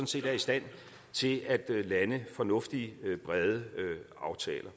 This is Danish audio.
set er i stand til at lande fornuftige brede aftaler